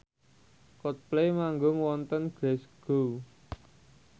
Coldplay manggung wonten Glasgow